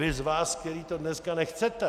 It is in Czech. Vy z vás, kteří to dneska nechcete.